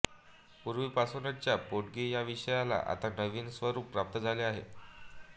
पूर्वी पासूनचा पोटगी या विषयाला आता नवीन स्वरूप प्राप्त झाले आहे